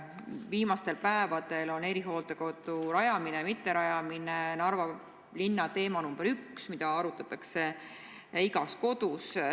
Viimastel päevadel on erihooldekodu rajamine või mitterajamine Narva linna teema nr 1, mida arutatakse igas kodus.